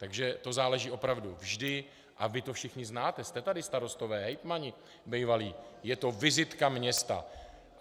Takže to záleží opravdu vždy - a vy to všichni znáte, jste tady starostové, hejtmani bývalí, je to vizitka města.